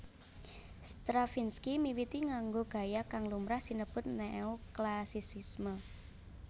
Stravinsky miwiti nganggo gaya kang lumrah sinebut Neoklasisisme